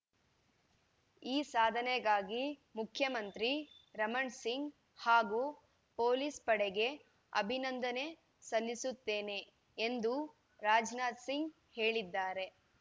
ಈ ಸಾಧನೆಗಾಗಿ ಮುಖ್ಯಮಂತ್ರಿ ರಮಣ್‌ಸಿಂಗ್‌ ಹಾಗೂ ಪೊಲೀಸ್‌ ಪಡೆಗೆ ಅಭಿನಂದನೆ ಸಲ್ಲಿಸುತ್ತೇನೆ ಎಂದು ರಾಜನಾಥ್‌ ಸಿಂಗ್‌ ಹೇಳಿದ್ದಾರೆ